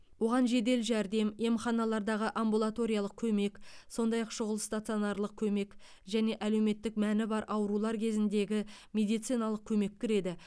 оған жедел жәрдем емханалардағы амбулаториялық көмек сондай ақ шұғыл стационарлық көмек және әлеуметтік мәні бар аурулар кезіндегі медициналық көмек кіреді